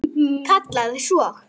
Kallaði svo